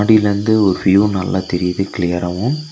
இதுல வந்து ஒரு வியூ நல்லா தெரியுது கிளியராவு .